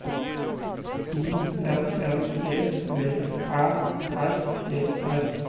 I N N E B Æ R E R